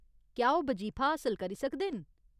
क्या ओह् बजीफा हासल करी सकदे न ?